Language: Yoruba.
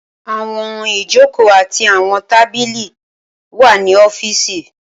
Awọn ijoko ati awọn tabili wa ni ọfiisi.